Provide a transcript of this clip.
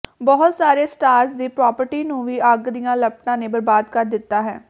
ਬਹੁਤ ਸਾਰੇ ਸਟਾਰਜ਼ ਦੀ ਪ੍ਰਾਪਟੀ ਨੂੰ ਵੀ ਅੱਗ ਦੀਆਂ ਲਪਟਾਂ ਨੇ ਬਰਬਾਦ ਕਰ ਦਿੱਤਾ ਹੈ